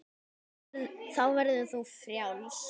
Þá verður þú frjáls.